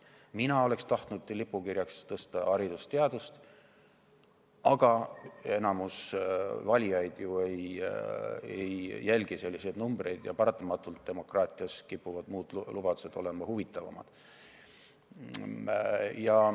Mina oleksin tahtnud lipukirjaks tõsta hariduse ja teaduse, aga enamik valijaid ei jälgi ju selliseid numbreid ja paratamatult kipuvad demokraatias muud lubadused olema huvitavamad.